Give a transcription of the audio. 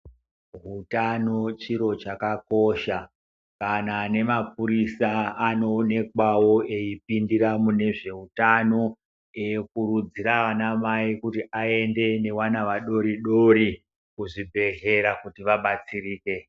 Utano chiro chakakosha kana nemapurisa anoonekwawo eipindira munezveutano eikurudzira ana mai kuti vaende nevana vadoridori kuzvibhedhlera kuti vabatsirike.